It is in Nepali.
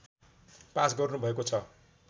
पास गर्नुभएको छ